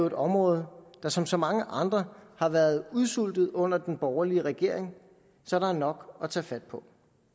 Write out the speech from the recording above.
et område der som så mange andre har været udsultet under den borgerlige regering så der er nok at tage fat på